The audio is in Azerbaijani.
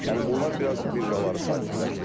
Yəni bunlar biraz birjaları sakitləşdirib.